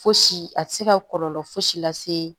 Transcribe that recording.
Fosi a tɛ se ka kɔlɔlɔ fosi la se